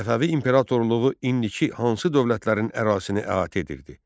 Səfəvi imperatorluğu indiki hansı dövlətlərin ərazisini əhatə edirdi?